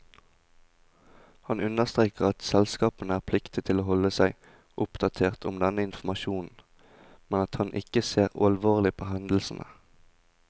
Han understreker at selskapene er pliktige til å holde seg oppdatert om denne informasjonen, men at han ikke ser alvorlig på hendelsen.